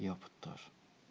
я бы тоже